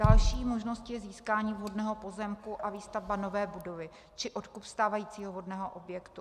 Další možností je získání vhodného pozemku a výstavba nové budovy či odkup stávajícího vhodného objektu.